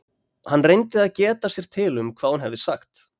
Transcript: Hann reyndi að geta sér til um hvað hún hefði sagt.